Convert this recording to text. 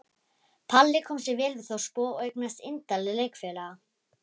Palli kom sér vel við þorpsbúa og eignaðist indæla leikfélaga.